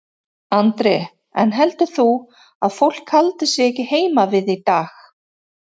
Andri: En heldur þú að fólk haldi sig ekki heima við í dag?